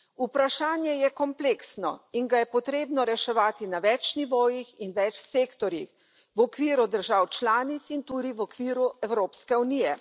Vprašanje je kompleksno in ga je treba reševati na več nivojih in več sektorjih, v okviru držav članic in tudi v okviru Evropske unije.